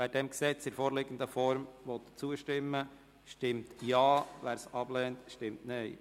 Wer diesem Gesetz in der vorliegenden Form zustimmen will, stimmt Ja, wer es ablehnt, stimmt Nein.